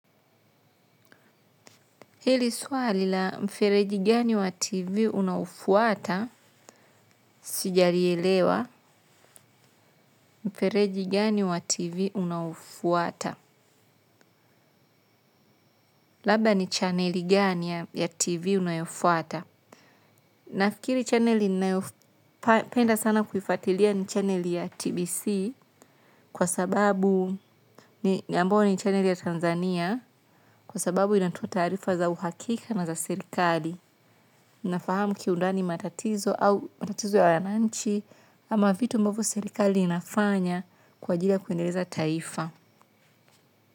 Hili swali la mfereji gani wa TV unaofuata? Sijalielewa mfereji gani wa TV unaofuata? Labda ni channeli gani ya TV unayofuata? Nafikiri channeli ninayopenda sana kuifuatilia ni channeli ya TBC kwa sababu ni ambayo ni channeli ya Tanzania kwa sababu inatoa taarifa za uhakika na za sirikali. Na fahamu kiundani matatizo au matatizo ya wanchi ama vitu mbovu serikali inafanya kwa ajili ya kuendeleza taifa.